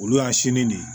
Olu y'a sini de ye